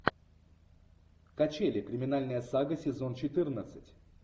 качели криминальная сага сезон четырнадцать